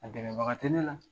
A gɛrɛbaga tɛ ne la.